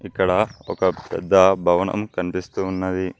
ఇక్కడ ఒక పెద్ద భవనం కనిపిస్తూ ఉన్నది.